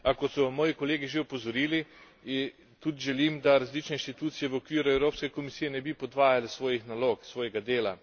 A kot so moji kolegi že opozorili, tudi želim, da različne inštitucije v okviru Evropske komisije ne bi podvajale svojih nalog, svojega dela.